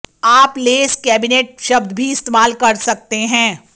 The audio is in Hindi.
आप लेस कैबिनेट शब्द भी इस्तेमाल कर सकते हैं